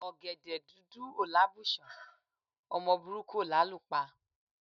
Ọ̀gẹ̀dẹ̀ dúdú ò lábùṣán, ọmọ burúkú ò lálù pa.